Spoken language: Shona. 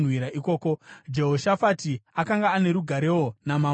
Jehoshafati akanga ane rugarewo namambo weIsraeri.